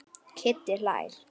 Kiddi hlær.